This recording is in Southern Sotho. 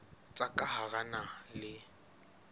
tsa ka hara naha le